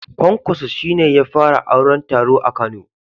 Kwankwaso shi ne ya fara auron taro a kano